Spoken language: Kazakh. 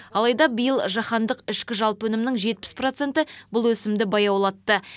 алайда биыл жаһандық ішкі жалпы өнімнің жетпіс проценті бұл өсімді баяулатты